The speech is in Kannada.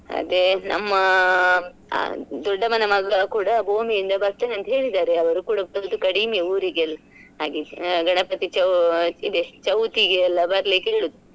ಅದೆ ನಮ್ಮಅ ದೊಡ್ಡಮನ ಮಗ ಕೂಡ ಇಂದ ಬರ್ತೆನೆ ಅಂತ ಹೇಳ್ತಿದ್ದಾರೆ ಅವ್ರು ಕೂಡ ಬರೋದು ಕಡಿಮೆ ಊರಿಗೆಲ್ಲ ಹಾಗೆ ಅ ಗಣಪತಿ ಚೌ~ ಇದೆ ಚೌತಿಗೆಲ್ಲ ಬರ್ಲಿಕ್ಕೆ ಹೇಳೋದು.